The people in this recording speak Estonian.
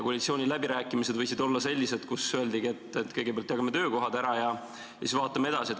Koalitsiooniläbirääkimised võisid olla sellised, kus öeldigi, et kõigepealt jagame töökohad ära ja siis vaatame edasi.